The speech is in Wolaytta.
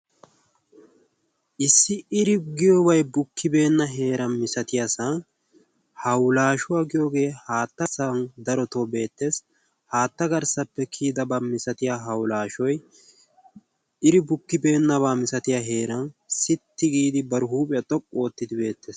issi iri giyoobai bukkibeenna heeran misatiyaa san haulaashuwaa giyoogee haatta san daro too beettees haatta garssappe kiyidabaa misatiya haulaashoi iri bukkibeennabaa misatiya heeran sitti giidi baru huuphiyaa xoqqu oottidi beettees